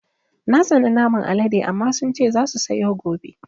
Na tsana naman Alaɗe amma sun ce za su sayo gobe